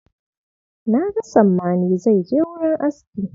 Na ga Sammani zai je wurin aski.